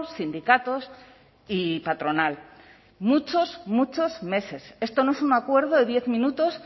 sindicatos y patronal muchos muchos meses esto no es un acuerdo de diez minutos